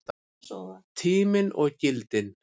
Tíminn og gildin